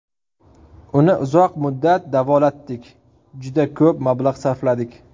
Uni uzoq muddat davolatdik, juda ko‘p mablag‘ sarfladik.